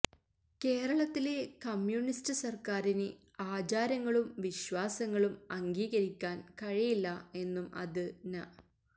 കേരളത്തിലെ കമ്മ്യൂണിസ്റ്റ് സർക്കാരിന് ആചാരങ്ങളും വിശ്വാസങ്ങളും അംഗീകരിക്കാൻ കഴിയില്ല എന്നും അത് ന